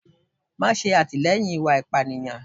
ma sé atilẹyín ìwá ipániyan